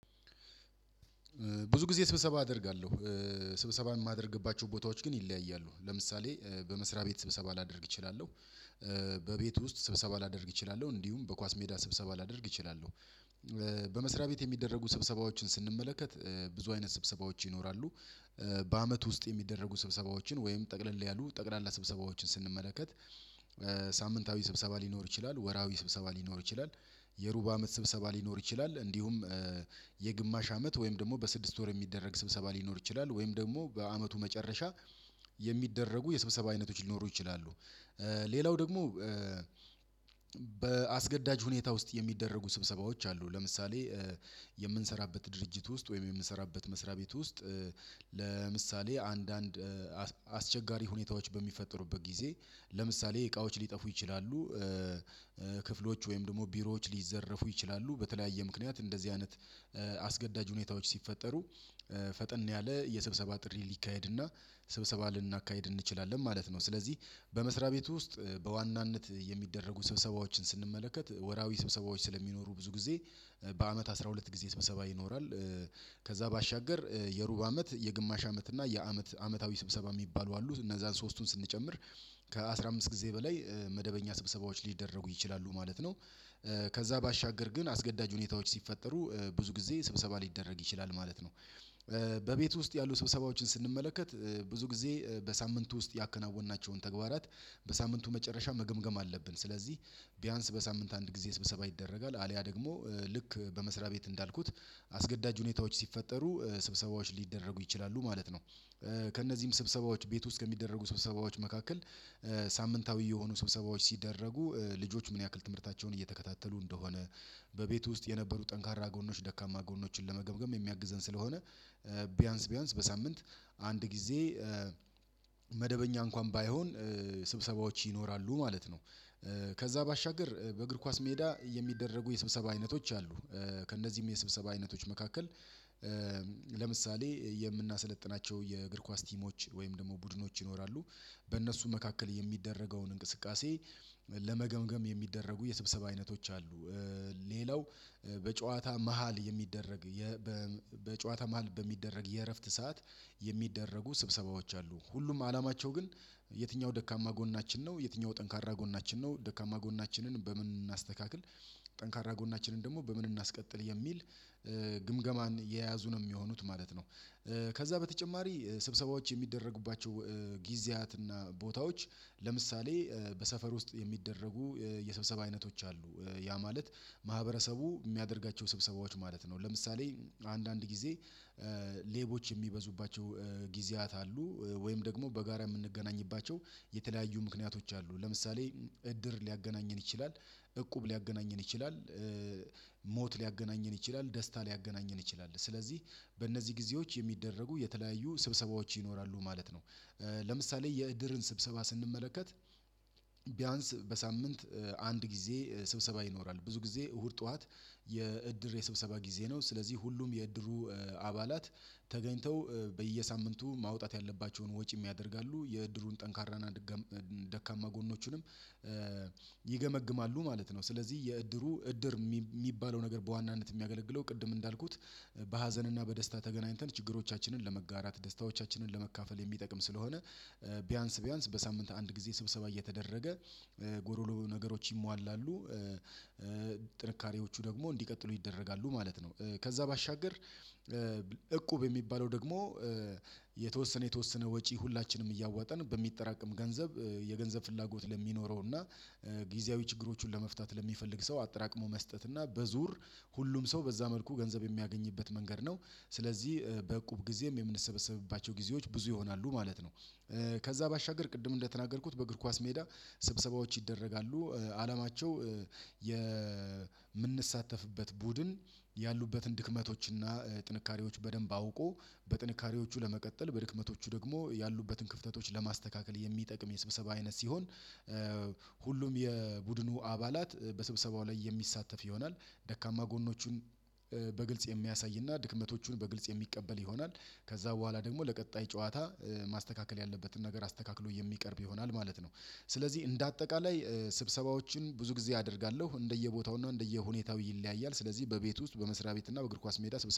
ብዙ ጊዜ ስብሰባ አደርጋለሁ። ስብሰባን የማደርግባቸው ቦታዎች ግን ይለያያሉ ለምሳሌ በመስሪያ ቤት ስብሰባ ላደርግ እችላለሁ። በቤት ውስጥ ስብሰባ ላደርግ እችላለሁ እንዲሁም በኳስ ሜዳ ስብሰባ ላደርግ እችላለሁ። በመስሪያ ቤት የሚደረጉ ስብሰባዎችን ስንመለከት ብዙ አይነት ስብሰባዎች ይኖራሉ። በአመት ውስጥ የሚደረጉ ስብሰባዎችን ወይም ጠቅለል ያሉ ጠቅላላ ስብሰባዎችን ስንመለከት። ሳምንታዊ ስብሰባ ሊኖር ይችላል ወራዊ ስብሰባ ሊኖር ይችላል። የሩብ አመት ስብሰባ ሊኖር ይችላል እንዲሁም የግማሽ አመት ወይም ደግሞ በስድስት ወር የሚደረግ ስብሰባ ሊኖር ይችላል። ወይም ደግሞ በአመቱ መጨረሻ የሚደረጉ የስብሰባ አይነቶች ሊኖሩ ይችላሉ። ሌላው ደግሞ በአስገዳጅ ሁኔታ ውስጥ የሚደረጉ ስብሰባዎች አሉ። ለምሳሌ የምንሰራበት ድርጅት ውስጥ ወይም የምንሰራበት መስሪያ ቤት ውስጥ ለምሳሌ አንዳንድ አስቸጋሪ ሁኔታዎች በሚፈጠሩበት ጊዜ ለምሳሌ እቃዎች ሊጠፉ ይችላሉ። ክፍሎች ወይም ደግሞ ቢሮዎች ሊዘረፉ ይችላሉ። በተለያየ ምክንያት እንደዚህ አይነት አስገዳጅ ሁኔታዎች ሲፈጠሩ ፈጠን ያለ የስብሰባ ጥሪ ሊካሄድና ስብሰባ ልናካሂድ እንችላለን ማለት ነው። ስለዚህ በመስሪያ ቤቱ ውስጥ በዋናነት የሚደረጉ ስብሰባዎችን ስንመለከት ወራዊ ስብሰባዎች ስለሚኖሩ ብዙ ጊዜ በአመት አስራ ሁለት ጊዜ ስብሰባ ይኖራል። ከዛ ባሻገር የሩብ አመት የግማሽ አመት እና የአመት አመታዊ ስብሰባ የሚባሉ አሉት እነዛን ሶስቱን ስንጨምር ከአስራአምስት ጊዜ በላይ መደበኛ ስብሰባዎች ሊደረጉ ይችላሉ ማለት ነው። ከዛ ባሻገር ግን አስገዳጅ ሁኔታዎች ሲፈጠሩ ብዙ ጊዜ ስብሰባ ሊደረግ ይችላል ማለት ነው። በቤቱ ውስጥ ያሉ ሰብሰባዎችን ስንመለከት ብዙ ጊዜ በሳምንቱ ውስጥ ያከናወናቸውን ተግባራት በሳምንቱ መጨረሻ መገምገም አለብን ስለዚህ ቢያንስ በሳምንት አንድ ጊዜ ስብሰባ ይደረጋል። አልያ ደግሞ ልክ በመስሪያ ቤት እንዳልኩት አስገዳጅ ሁኔታዎች ሲፈጠሩ ስብሰባዎች ሊደረጉ ይችላሉ ማለት ነው። ከእነዚህም ስብሰባዎች ቤት ውስጥ ከሚደረጉ ስብሰባዎች መካከል ሳምንታዊ የሆኑ ስብሰባዎች ሲደረጉ ልጆች ምን ያክል ትምህርታቸውን እየተከታተሉ እንደሆነ በቤቱ ውስጥ የነበሩ ጠንካራ ጎኖች ደካማ ጎኖችን ለመገምገም የሚያግዘን ስለሆነ ቢያንስ ቢያንስ በሳምንት አንድ ጊዜ መደበኛ እንኳን ባይሆን ስብሰባዎች ይኖራሉ ማለት ነው። ከዛ ባሻገር በእግር ኳስ ሜዳ የሚደረጉ የስብሰባ አይነቶች አሉ። ከእነዚህም የስብሰባ አይነቶች መካከል ለምሳሌ የምናሰለጥናቸው የእግር ኳስ ቲሞች ወይም ደግሞ ቡድኖች ይኖራሉ። በእነሱ መካከል የሚደረገውን እንቅስቃሴ ለመገምገም የሚደረጉ የስብሰባ አይነቶች አሉ። ሌላው በጨዋታ መሃል የሚደረግ በጨዋታ መሃል በሚደረግ የእረፍት ሰዓት የሚደረጉ ስብሰባዎች አሉ። ሁሉም አላማቸው ግን የትኛው ደካማ ጎናችን ነው የትኛው ጠንካራ ጎናችን ነው ደካማ ጎናችንን በምን እናስተካክል? ጠንካራ ጎናችንን ደግሞ በምን እናስቀጥል የሚል ግምገማን የያዙ ነው የሚሆኑት ማለት ነው። ከዛ በተጨማሪ ስብሰባዎች የሚደረጉባቸው ጊዜያት እና ቦታዎች ለምሳሌ በሰፈር ውስጥ የሚደረጉ የስብሰብ አይነቶች አሉ። ያ ማለት ማህበረሰቡ የሚያደርጋቸው ስብሰባዎች ማለት ነው። ለምሳሌ አንዳንድ ጊዜ ሌቦች የሚበዙባቸው ጊዜያት አሉ። ወይም በጋራ የምንገናኝባቸው የተለያዩ ምክንያቶች አሉ ለምሳሌ እድር ሊያገናኘን ይችላል እቁብ ሊያገናኘን ይችላል። ሞት ሊያገናኘን ይችላል ደስታ ሊያገናኘን ይችላል ስለዚህ በእነዚህ ጊዜዎች የሚደረጉ የተለያዩ ስብሰባዎች ይኖራሉ ማለት ነው። ለምሳሌ የእድርን ስብሰባ ስንመለከት ቢያንስ በሳምንት አንድ ጊዜ ስብሰባ ይኖራል ብዙ ጊዜ እሁድ ጠዋት የእድር የሰብሰባ ጊዜ ነው ስለዚህ ሁሉም የእድሩ አባላት ተገኝተው በየሳምንቱ ማውጣት ያለባቸውን ወጪ ያደርጋሉ የእድሩን ጠንካራና ደካማ ጎኖችንም ይገመግማሉ ማለት ነው። ስለዚህ የእድሩ እድር የሚባለው ነገር በዋናነት የሚያገለግለው ቅድም እንዳልኩት በሀዘንና በደስታ ተገናኝተን ችግሮቻችንን ለመጋራት ደስታዎቻችንን ለመካፈል የሚጠቅም ስለሆነ ቢያንስ ቢያንስ በሳምንት አንድ ጊዜ ስብሰባ እየተደረገ ጎዶሎ ነገሮች ይሟላሉ ጥንካሬዎቹ ደግሞ እንዲቀጥሉ ይደረጋሉ ማለት ነው። ከዛ ባሻገር እቁብ የሚባለው ደግሞ የተወሰነ የተወሰነ ወጪ ሁላችንም እያዋጠን በሚጠራቀም ገንዘብ የገንዘብ ፍላጎት ለሚኖረው እና ጊዜያዊ ችግሮቹን ለመፍታት ለሚፈልግ ሰው አጠራቅሞ መስጠት እና በዙር ሁሉም ሰው በዛ መልኩ ገንዘብ የሚያገኝበት መንገድ ነው። ስለዚህ በእቁብ ጊዜም የምንሰበሰብባቸው ጊዜዎች ብዙ ይሆናሉ ማለት ነው። ከዛ ባሻገር ቅድም እንደተናገርኩት በእግር ኳስ ሜዳ ስብሰባዎች ይደረጋሉ። አላማቸው የምንሳተፍበት ቡድን ያሉበትን ድክመቶችና ጥንካሬዎች በደንብ አውቆ በጥንካሬዎቹ ለመቀጠል በድክመቶቹ ደግሞ ያሉበትን ክፍተቶች ለማስተካከል የሚጠቅም የስብሰባ አይነት ሲሆን ሁሉም የቡድኑ አባላት በስብሰባው ላይ የሚሳተፍ ይሆናል። ደካማ ጎኖቹን በግልጽ የሚያሳይና ድክመቶቹን በግልጽ የሚቀበል ይሆናል። ከዛ በኋላ ደግሞ ለቀጣይ ጨዋታ ማስተካከል ያለበትን ነገር አስተካክሎ የሚቀርብ ይሆናል ማለት ነው። ስለዚህ እንደ አጠቃላይ ስብሰባዎችን ብዙ ጊዜ አደርጋለሁ እንደየቦታውና እንደየሁኔታው ይለያያል ስለዚህ በቤት ውስጥ በመስሪያ ቤትና በእግር ኳስ ሜዳ